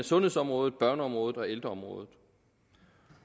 sundhedsområdet børneområdet og ældreområdet